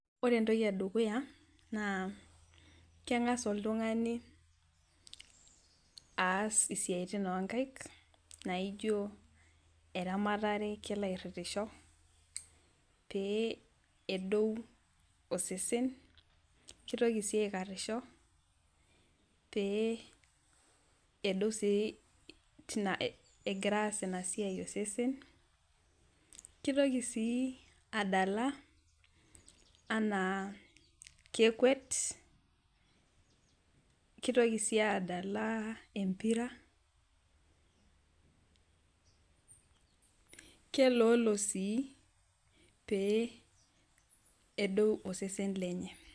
Ore entoki edukuya naa kengas oltungani aas esiatin onkaek naijo eramatare kelo airitisho pee edou osesen, kelo sii aikarisho egira aas ina siai osesen. kitoki sii adala enaa kekwet ,kitoki sii adala empira ,keloolo sii pee edou osesen lenye.